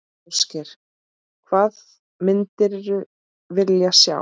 Ásgeir: Hvað myndir vilja sjá?